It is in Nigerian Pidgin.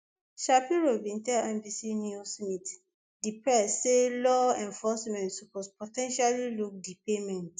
shapiro bin tell nbc news meet di press say law enforcement suppose po ten tially look di payment